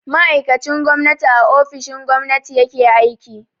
Ma'aikacin gwamnati a ofishin gwamnati ya ke aiki.